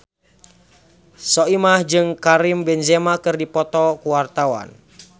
Soimah jeung Karim Benzema keur dipoto ku wartawan